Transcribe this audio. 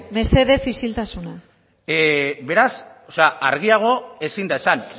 mesedez isiltasuna beraz argiago ezin da esan